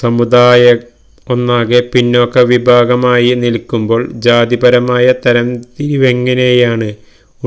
സമുദായം ഒന്നാകെ പിന്നാക്ക വിഭാഗമായി നില്ക്കുമ്പോള് ജാതിപരമായ തരംതിരിവെങ്ങനെയാണ്